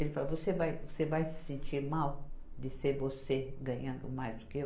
Ele falou, você vai, você vai se sentir mal de ser você ganhando mais do que eu?